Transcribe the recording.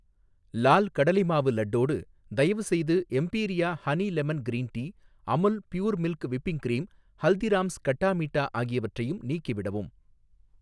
லால் கடலைமாவு லட்டோடு, தயவுசெய்து Emperia honey lemon green tea, Amul pure milk whipping cream, Haldiram's khatta meetha ஆகியவற்றையும் நீக்கிவிடவும்.